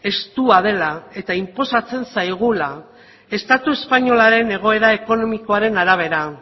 estua dela eta inposatzen zaigula estatu espainolaren egoera ekonomikoaren arabera